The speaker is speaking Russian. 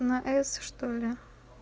на с что ли